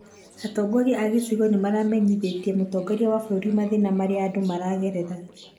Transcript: Atongoria a gĩcigo nĩmamenyithĩtie mũtongoria wa bũrũri mathĩna marĩa andũ maragerera